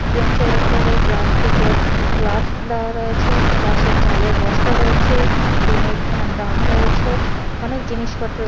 বেঞ্চের ওপরে প্লাস্টিকের গ্লাস দেওয়া রয়েছে পাশে চালের বস্তা রয়েছে টিনের ড্রাম রয়েছে অনেক জিনিসপত্র--